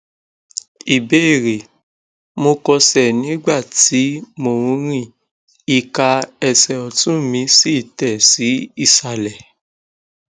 ìbéèrè mo kọsẹ nígbà tí mo ń rìn ika ẹsẹ ọtún mi sì tẹ sí isalẹ